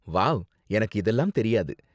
Wow, எனக்கு இதெல்லாம் தெரியாது.